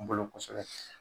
N bolo kosɛbɛ